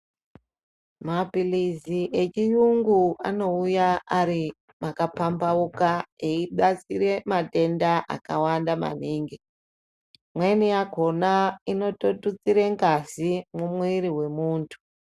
Mapirizi echiyungu anouya ari makapambhauka eibatsira matenda akawanda maningi, imweni yakhona inototutsire ngazi mumwiri wemunthu.